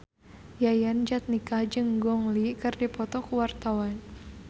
Yayan Jatnika jeung Gong Li keur dipoto ku wartawan